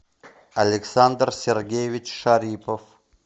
александр сергеевич шарипов